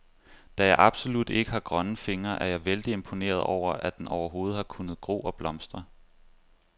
Da jeg absolut ikke har grønne fingre, er jeg vældig imponeret over, at den overhovedet har kunnet gro og blomstre.